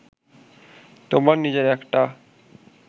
তোমার নিজের একটা